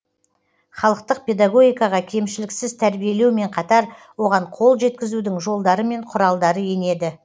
халықтық педагогикаға кемшіліксіз тәрбиелеумен қатар оған қол жеткізудің жолдары мен құралдары енеді